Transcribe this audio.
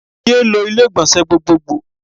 Yéé lo ilé ìgbọ̀nsẹ̀ gbogbogbò.